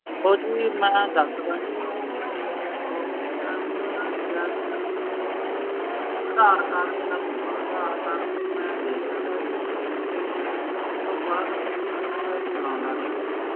ਉਹ ਜੀ ਮੈਂ ਦਸਦਾ ਤੁਹਾਨੂੰ ਓਹਨਾ ਨੇ ਮੈਨੂੰ ਕਿਹਾ ਸੀ ਕਿ ਅਧਾਰ card ਦੇਣਾ ਪਾਊਗਾ ਅਧਾਰ card ਫੇਰ ਮੈਂ ਦੇ ਤਾ ਤਾ ਜੀ ਤੇ ਉਸ ਤੋਂ ਬਾਅਦ ਬਸ ਫੇਰ ਚਲਾਂਦਾ ਰਿਹਾ ਜੀ